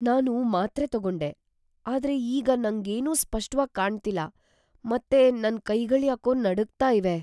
ನಾನು ಮಾತ್ರೆ ತಗೊಂಡೆ, ಆದ್ರೆ ಈಗ ನಂಗೇನೂ ಸ್ಪಷ್ಟವಾಗ್‌ ಕಾಣ್ತಿಲ್ಲ ಮತ್ತೆ ನನ್ ಕೈಗಳ್ಯಾಕೋ ನಡುಗ್ತಾ ಇವೆ.